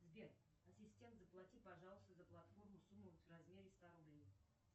сбер ассистент заплати пожалуйста за платформу сумму в размере ста рублей